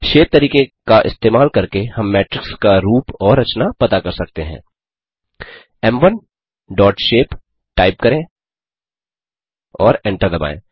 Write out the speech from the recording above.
shape तरीके का इस्तेमाल करके हम मेट्रिक्स का रूप और रचना पता लगा सकते हैं एम1 डॉट शेप टाइप करें और एंटर दबाएँ